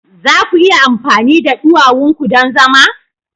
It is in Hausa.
Za ku iya amfani da duwawun ku don zama?